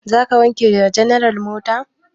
Za ka wanke wa general mota?